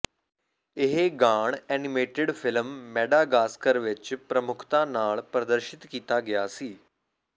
ਇਹ ਗਾਣ animated film Madagascar ਵਿਚ ਪ੍ਰਮੁੱਖਤਾ ਨਾਲ ਪ੍ਰਦਰਸ਼ਿਤ ਕੀਤਾ ਗਿਆ ਸੀ